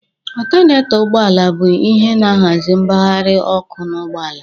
Altanetọ ụgbọala bụ ihi na-aghazi mgbahgarị ọkụ n'ụgbọala.